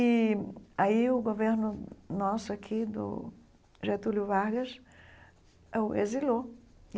E aí o governo nosso aqui, do Getúlio Vargas, o exilou.